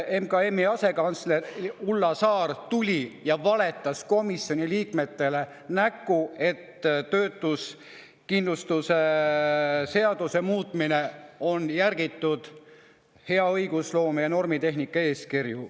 MKM‑i asekantsler Ulla Saar tuli ja valetas komisjoni liikmetele näkku, et töötuskindlustuse seaduse muutmisel on järgitud hea õigusloome ja normitehnika eeskirju.